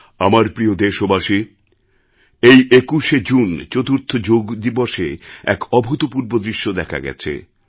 আমার প্রিয় দেশবাসী এই ২১শে জুন চতুর্থ যোগদিবসে এক অভূতপূর্ব দৃশ্য দেখা গেছে